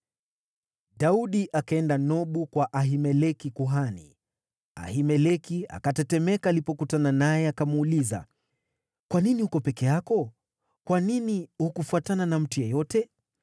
Daudi akaenda Nobu, kwa Ahimeleki kuhani. Ahimeleki akatetemeka alipokutana naye, akamuuliza, “Kwa nini uko peke yako? Kwa nini hukufuatana na mtu yeyote?”